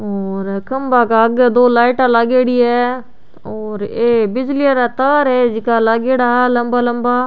और खम्भा के आगे दो लाइटाँ लागेड़ी है और ये बिजली आला तार है जेका लागेड़ा है लम्बा लम्बा।